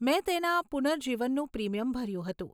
મેં તેના પુનર્જીવનનું પ્રીમિયમ ભર્યું હતું.